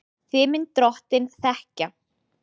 Þig mun Drottinn þekkja.